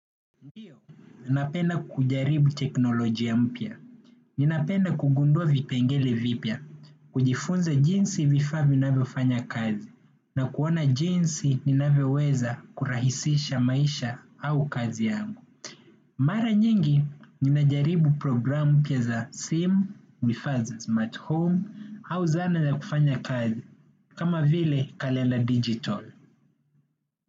Ndiyo, ninapenda kujaribu teknolojia mpya. Ninapenda kugundua vipengele vipya, kujifunza jinsi vifaa vinavyofanya kazi, na kuona jinsi ninavyoweza kurahisisha maisha au kazi yangu. Mara nyingi nimejaribu programu mpya za simu, vifaa vya smartphone au zana ya kufanya kazi kama vile kalele digital.